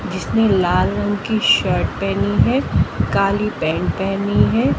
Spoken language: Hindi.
जिसमें लाल रंग की शर्ट पहनी है काली पैंट पहनी है।